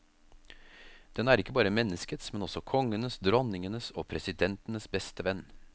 Den er ikke bare menneskets, men også kongenes, dronningenes og presidentenes beste venn.